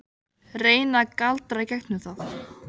Reyni að galdra í gegnum það.